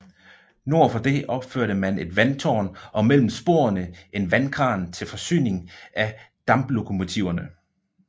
Nord for det opførte man et vandtårn og mellem sporene en vandkran til forsyning af damplokomotiverne